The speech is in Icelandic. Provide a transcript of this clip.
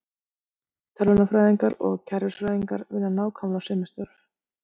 Tölvunarfræðingar og kerfisfræðingar vinna nákvæmlega sömu störf.